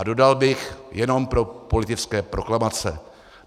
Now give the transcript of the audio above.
A dodal bych: Jenom pro politické proklamace.